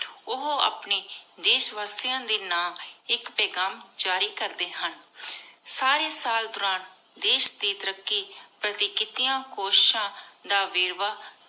ਓਹੋ ਆਪਣੀ ਦੇਸ਼ ਵਾਸਿਯਾਂ ਦੇ ਨਾਮ ਆਇਕ ਪੇਘਾਮ ਜਾਰੀ ਕਰਦੀ ਹਨ ਸਾਰੀ ਸਾਲ ਦੋਰਾਨ ਦੇਸ਼ ਦੇ ਤਾਰਾਕ਼ੀ ਪਾਰਟੀ ਕਿਤਿਯਾਂ ਕੋਸ਼ਿਸ਼ਾਂ ਦਾ ਵੇਰ੍ਵਾਹ